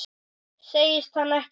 Segist hann ekki hafa áhuga?